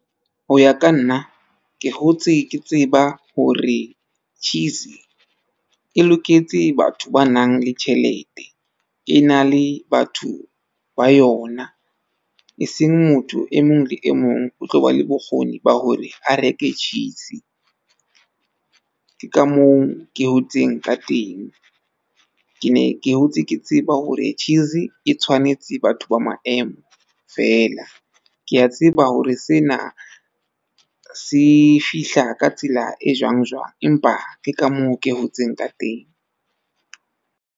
Ho ya ka nna ke hotse ke tseba hore cheese e loketse batho ba nang le tjhelete. E na le batho ba yona e seng motho e mong le e mong o tlo ba le bokgoni ba hore a reke cheese. Ke ka moo ke hotseng ka teng. Ke ne ke hotse ke tseba hore cheese e tshwanetse batho ba maemo feela. Ke a tseba hore sena se fihla ka tsela e jwang jwang, empa ke ka moo ke hotseng ka teng.